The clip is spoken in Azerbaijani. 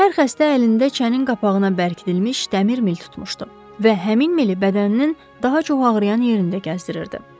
Hər xəstə əlində çənin qapağına bərkidilmiş dəmir mil tutmuşdu və həmin mili bədəninin daha çox ağrıyan yerində gəzdirirdi.